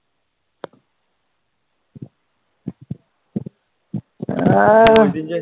আর